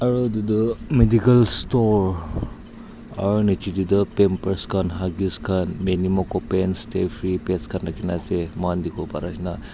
Aro etu tu medical store aro nejai da tu pamper khan huggies pants da free pads rekha kana ase mohan dekhe bo bha ri ase.